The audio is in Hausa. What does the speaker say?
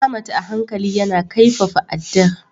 Ahmad a hankali yana kaifafa addar.